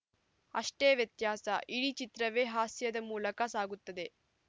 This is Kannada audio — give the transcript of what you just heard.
ಅಷ್ಟೇ ವ್ಯತ್ಯಾಸ ಇಡೀ ಚಿತ್ರವೇ ಹಾಸ್ಯದ ಮೂಲಕ ಸಾಗುತ್ತದೆ